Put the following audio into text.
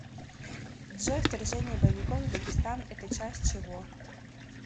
джой вторжение боевиков в дагестан это часть чего